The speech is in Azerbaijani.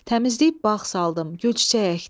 Təmizləyib bağ saldım, gül-çiçək əkdim.